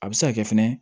A bɛ se ka kɛ fɛnɛ